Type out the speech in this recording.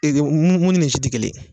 Ee de mun ni si te kelen ye